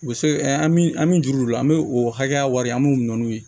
U bɛ se an min an an mi juru don o la an bɛ o hakɛya wari an b'u nɔni